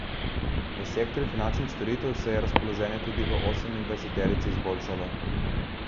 V sektorju finančnih storitev se je razpoloženje tudi v osemindvajseterici izboljšalo.